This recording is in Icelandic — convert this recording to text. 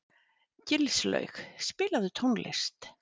Gilslaug, spilaðu tónlist.